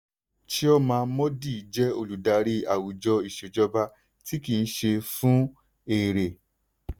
chioma mordi jẹ́ olùdarí àwùjọ ìṣèjọba tí kì í ṣe fún èrè.